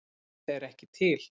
Eru þeir ekki til?